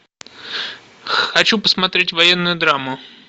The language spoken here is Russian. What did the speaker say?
хочу посмотреть военную драму